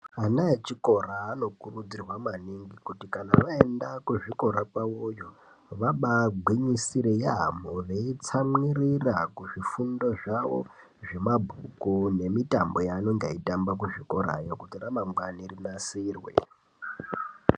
Vana vezvikora vanokurudzirwa maningi kuti vaenda kuzvikora vagwinyisire nekutsamwirira yambo muzvifundo zvavo vemabhuku nemitambo yavanenge veitamba kuti ramangwana ravo rinasirwe.